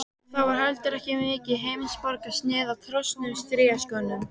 Það var heldur ekki mikið heimsborgarasnið á trosnuðum strigaskónum.